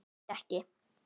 Græt ekki.